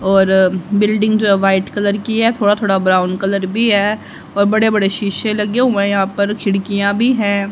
और बिल्डिंग जो है व्हाइट कलर की है थोड़ा थोड़ा ब्राउन कलर भी है और बड़े बड़े शीशे लगे हुए हैं यहां पर खिड़कियां भी है।